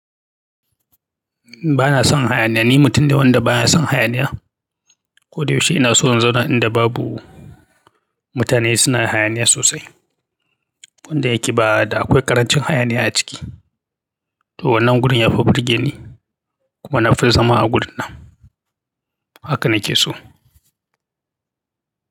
Ba na son hayaniya, ni mutum da wanda ba ya son hayaniya. Ko da yaushe ina so in zauna inda babu mutane suna hayaniya sosai. Wanda yake ba da akwai ƙarancin hayaniya a ciki. To wannan wurin yafi burge ni kuma na fi zama a wurin nan. Haka na ce so.